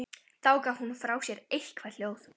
Þá gaf hún frá sér eitthvert hljóð.